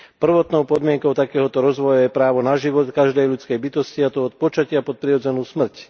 Prvotnou podmienkou takéhoto rozvoja je právo na život každej ľudskej bytosti, a to od počatia po prirodzenú smrť.